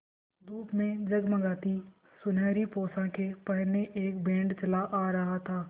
धूप में जगमगाती सुनहरी पोशाकें पहने एक बैंड चला आ रहा था